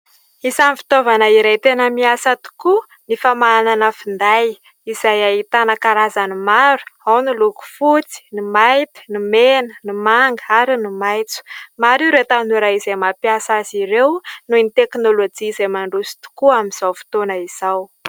Isan'ny fitaovana iray tena miasa tokoa ny famahanana finday, izay ahitana karazany maro : ao ny miloko fotsy, ny mainty, ny mena, ny manga, ary ny maitso. Maro ireo tanora izay mampiasa azy ireo noho ny teknolojia izay mandroso tokoa amin'izao fotoana izao.